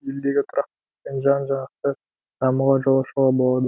елдегі тұрақтылық пен жан жақты дамуға жол ашуға болады